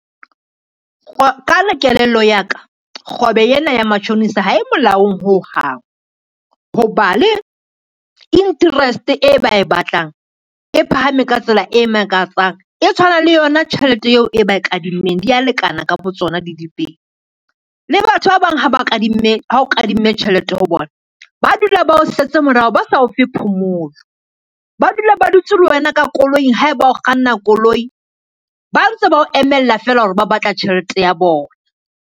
Ka kelello ya ka, kgwebo ena ya matjhonisa ha e molaong ho hang, ho ba le interest e ba e batlang e phahame ka tsela e makatsang, e tshwana le yona tjhelete eo e ba e kadimmeng dia lekana ka bo tsona di le pedi. Le batho ba bang ha o kadimme tjhelete ho bona, ba dula ba o setse morao, ba sa o fe phomolo, ba dula ba dutse le wena ka koloing, haeba o kganna koloi ba ntse ba o emella fela hore ba batla tjhelete ya bona.